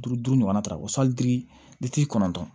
Duuru duuru ɲɔgɔnna ta ko kɔnɔntɔn